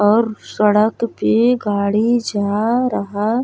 और सड़क पे गाड़ी जा रहा --